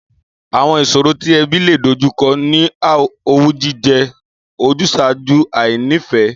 Àwo̩n ìs̩òro tí e̩bí lè dojúko̩ ni owú jíje̩, ojús̩àájú, àìní-ìfé̩